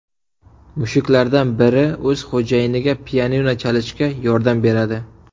Mushuklardan biri o‘z xo‘jayiniga pianino chalishda yordam beradi.